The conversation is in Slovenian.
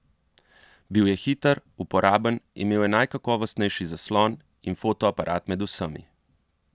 Bil je hiter, uporaben, imel je najkakovostnejši zaslon in fotoaparat med vsemi.